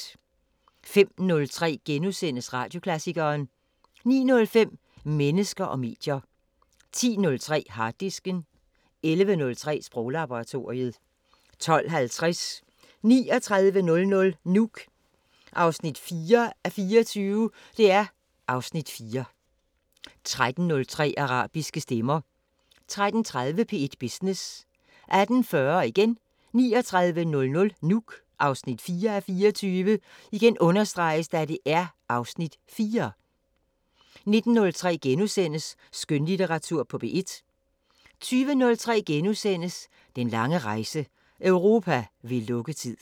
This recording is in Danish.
05:03: Radioklassikeren * 09:05: Mennesker og medier 10:03: Harddisken 11:03: Sproglaboratoriet 12:50: 3900 Nuuk 4:24 (Afs. 4) 13:03: Arabiske stemmer 13:30: P1 Business 18:40: 3900 Nuuk (4:24) (Afs. 4) 19:03: Skønlitteratur på P1 * 20:03: Den lange rejse – Europa ved lukketid *